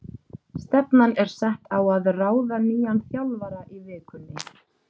Stefnan er sett á að ráða nýjan þjálfara í vikunni.